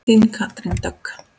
Þín Katrín Dögg.